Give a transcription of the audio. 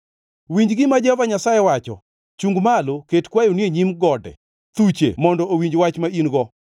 Winj gima Jehova Nyasaye wacho: “Chungʼ malo, ket kwayoni e nyim gode; thuche mondo owinj wach ma in-go.